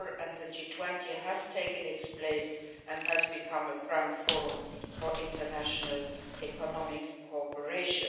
The G20 has taken its place and has become a prime forum for international economic cooperation.